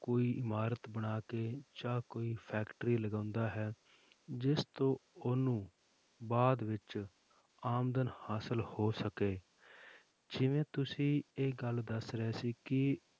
ਕੋਈ ਇਮਾਰਤ ਬਣਾ ਕੇ ਜਾਂ ਕੋਈ factory ਲਗਾਉਂਦਾ ਹੈ, ਜਿਸ ਤੋਂ ਉਹਨੂੰ ਬਾਅਦ ਵਿੱਚ ਆਮਦਨ ਹਾਸਿਲ ਹੋ ਸਕੇ ਜਿਵੇਂ ਤੁਸੀਂ ਇਹ ਗੱਲ ਦੱਸ ਰਹੇ ਸੀ ਕਿ